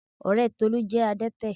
Ọ̀rẹ́ Tolú jẹ́ adẹ́tẹ̀